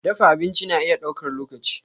Dafa abinci na iya ɗaukar lokaci.